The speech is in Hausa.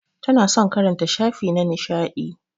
Tana son karanta shafi na nishadi.